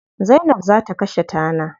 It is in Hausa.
Zainab za ta kashe tana.